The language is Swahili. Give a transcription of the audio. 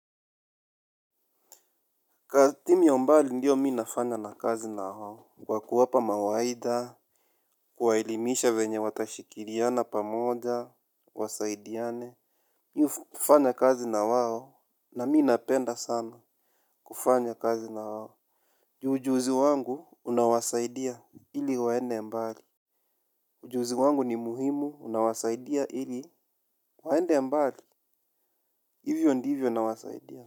Timu ya mbali ndiyo mimi nafanya na kazi na hao kwa kuwapa mawaida kuwaelimisha venye watashikiriana pamoja. Wasaidiane. Niyo kufanya kazi na wao. Na mi napenda sana kufanya kazi na wao. Ju ujuzi wangu unawasaidia ili waende mbali ujuzi wangu ni muhimu unawasaidia ili waende mbali. Hivyo ndivyo nawasaidia.